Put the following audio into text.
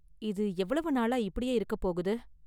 இது எவ்வளவு நாளா இப்படியே இருக்கப் போகுது?